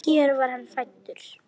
Hér var hann fæddur.